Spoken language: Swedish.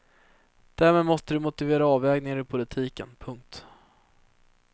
Därmed måste de motivera avvägningar i politiken. punkt